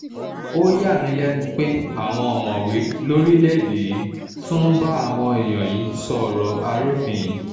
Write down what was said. ó yà mí lẹ́nu pé àwọn ọ̀mọ̀wé lórílẹ̀-èdè yìí tún ń bá àwọn èèyàn yìí sọ ọ̀rọ̀ arúfin yìí